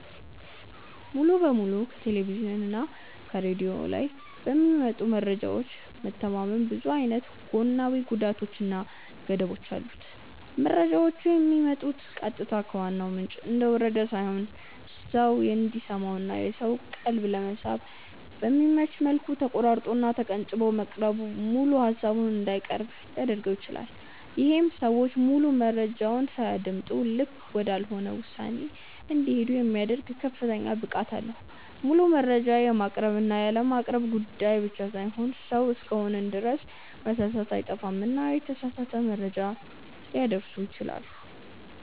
ሙሉ በሙሉ ከቴሌቭዥን እና ከሬድዮ ላይ በሚመጡ መረጃዎች መተማመን ብዙ አይነት ጎናዊ ጉዳቶች እና ገደቦች አሉት። መረጃዎቹ የሚመጡት ቀጥታ ከዋናው ምንጭ እንደወረደ ሳይሆን ሰው እንዲሰማው እና የሰውን ቀልብ ለመሳብ በሚመች መልኩ ተቆራርጦ እና ተቀንጭቦ መቅረቡ ሙሉ ሃሳቡን እንዳይቀርብ ሊያድርገው ይችላል። ይሄም ሰዎች ሙሉ መረጃውን ሳያደምጡ ልክ ወዳልሆነ ውሳኔ እንዲሄዱ የሚያደርግ ከፍተኛ ብቃት አለው። ሙሉ መረጃ የማቅረብ እና ያለማቅረብ ጉዳይ ብቻ ሳይሆን ሰው እስከሆንን ድረስ መሳሳት አይጠፋምና የተሳሳተ መረጃ ሊያደርሱ ይችላሉ።